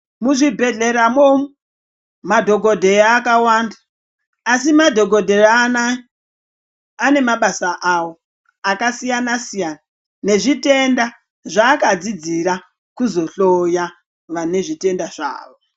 Mu zvibhedhleya mo madhokodheya akawanda asi madhokodheya anaya ane mabasa awo aka siyana siyana ne zvitenda zva aka dzidzira kuzo hloya vane zvitenda zvawo.